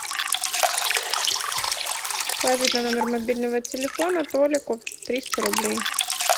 положить на номер мобильного телефона толику триста рублей